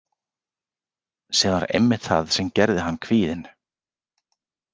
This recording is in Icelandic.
Sem var einmitt það sem gerði hann kvíðinn.